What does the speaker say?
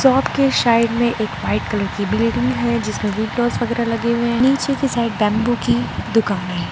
आपके साइड में एक व्हाइट कलर की बिल्डिंग है जिसमें विंडो वगैरा लगे हुए हैं नीचे की साइड बेम्बू की दुकान है।